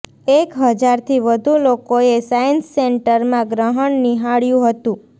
એક હજારથી વધુ લોકોએ સાયન્સ સેન્ટરમાં ગ્રહણ નિહાળ્યુ હતું